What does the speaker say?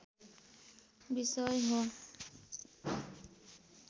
विषय हो